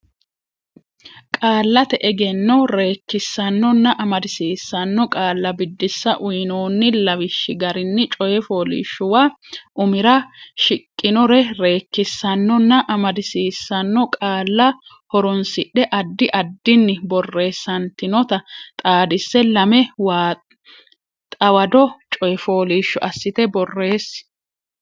Qaallate Egenno Reekkisaanonna Amadisiisaano Qaalla Biddissa Uynoonni lawishshi garinni coy fooliishshuwa umira shiqqinore reekkisaanonna amadisiisaano qaalla horonsidhe addi addinni borreessantinota xaadisse lame xawado coy fooliishsho assite borreessi.